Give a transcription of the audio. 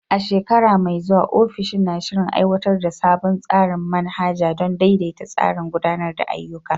A shekara mai zuwa, ofishin na shirin aiwatar da sabon tsarin manhaja don daidaita tsarin gudanar da ayyuka.